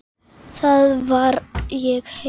Þar var ég heima.